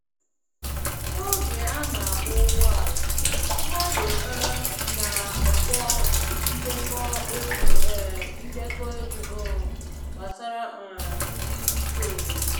N'oge a na-agba ụgbọ ala, mmadụ um na-akpọ ndekọ egwu um ndekọ egwu um gbasara um ndị dike obodo